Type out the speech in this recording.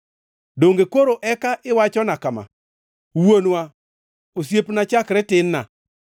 Donge koro eka iwachona kama: Wuonwa, osiepna chakre tin-na,